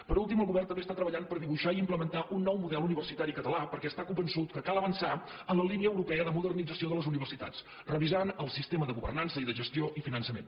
per últim el govern també està treballant per dibuixar i implementar un nou model universitari català per·què està convençut que cal avançar en la línia europea de modernització de les universitats revisant el siste·ma de governança i de gestió i finançament